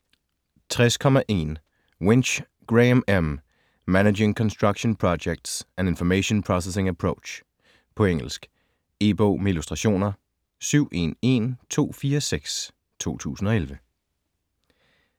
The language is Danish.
60.1 Winch, Graham M.: Managing construction projects: an information processing approach På engelsk. E-bog med illustrationer 711246 2011.